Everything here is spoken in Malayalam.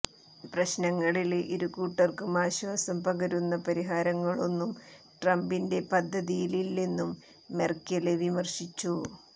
പ്രശ്നങ്ങളില് ഇരു കൂട്ടര്ക്കും ആശ്വാസം പകരുന്ന പരിഹാരങ്ങളൊന്നും ട്രംപിന്റെ പദ്ധതിയിലില്ലെന്നും മെര്ക്കല് വിമര്ശിച്ചു